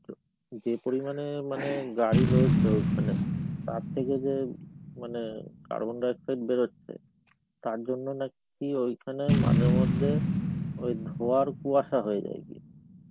যে পরিমানে মানে গাড়ী রয়েছে ওখানে তার থেকে যে মানে carbon dioxide বেরোচ্ছে, তারজন্যে নাকি ঐখানে মাঝে মধ্যে ধোয়ার কুয়াসা হয়ে যায় গিয়ে.